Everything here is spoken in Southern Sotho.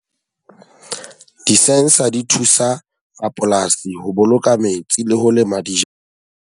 Di-sensor di thusa rapolasi ho boloka metsi le ho lema di .